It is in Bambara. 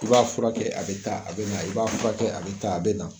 I b'a furakɛ a bɛ taa a bɛ na i b'a furakɛ a bɛ taa a bɛ na.